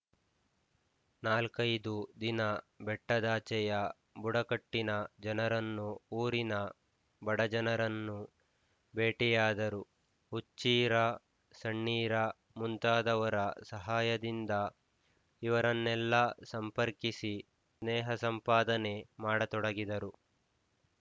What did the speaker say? ನಾಲ್ಕೈದು ದಿನ ಬೆಟ್ಟದಾಚೆಯ ಬುಡಕಟ್ಟಿನ ಜನರನ್ನು ಊರಿನ ಬಡಜನರನ್ನು ಭೇಟಿಯಾದರು ಹುಚ್ಚೀರ ಸಣ್ಣೀರ ಮುಂತಾದವರ ಸಹಾಯದಿಂದ ಇವರನ್ನೆಲ್ಲ ಸಂಪರ್ಕಿಸಿ ಸ್ನೇಹಸಂಪಾದನೆ ಮಾಡತೊಡಗಿದರು